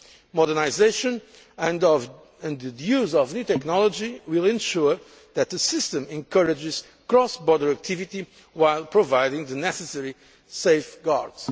is up to date. Modernisation and the use of new technology will ensure that the system encourages cross border activity while providing the necessary